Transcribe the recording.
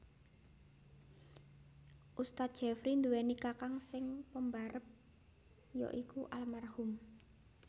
Ust Jefri nduweni kakang sing pembarep ya iku Alm